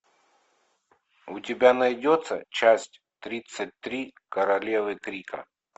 у тебя найдется часть тридцать три королевы трика